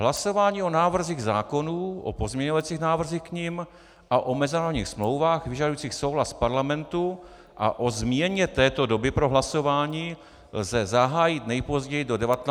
Hlasování o návrzích zákonů, o pozměňovacích návrzích k nim a o mezinárodních smlouvách vyžadujících souhlas Parlamentu a o změně této doby pro hlasování lze zahájit nejpozději do 19 hodin.